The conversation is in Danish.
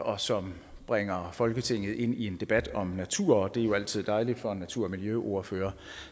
og som bringer folketinget ind i en debat om natur det er jo altid dejligt for en natur og miljøordfører